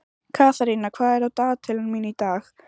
Katharina, hvað er á dagatalinu mínu í dag?